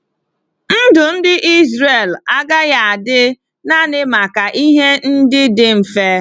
Ndụ ndị Izrel agaghị adị naanị maka ihe ndị dị mfe.